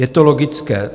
Je to logické.